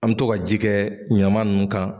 An bɛ to ka ji kɛ ɲaman ninnu kan